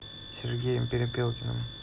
сергеем перепелкиным